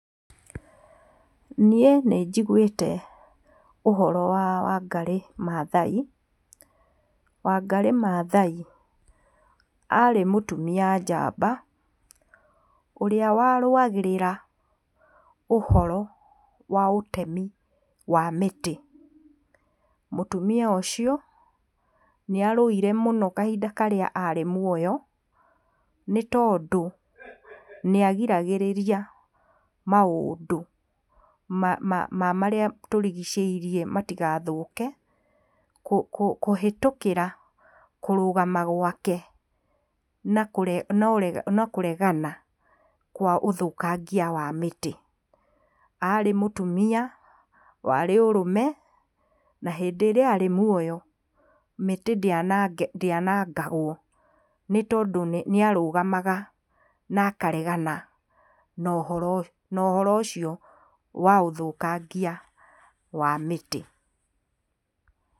Niĩ nĩ njiguĩte ũhoro wa Wangarĩ Maathai. Wangarĩ Maathai arĩ mũtumia njamba ũrĩa warũagĩrĩra ũhoro wa ũtemi wa mĩtĩ. Mũtumia ũcio nĩarũire mũno kahinda karĩa arĩ muoyo nĩ tondũ nĩa giragĩrĩria maũndũ ma, ma, ma marĩa tũrigicĩirie matigathũke kũ, kũ, kũhitũkĩra kũrũgama gwake na kũregana, noregani, na kũregana kwa ũthũkangia wa mĩtĩ. Aarĩ mũtumia warĩ ũrũme na hĩndĩ ĩrĩa arĩ muoyo mĩtĩ ndĩanange, ndĩanangagwo nĩ tondũ nĩ arũgamaga na akaregana na ũhoro, na ũhoro ũcio wa ũthũkangia wa mĩtĩ.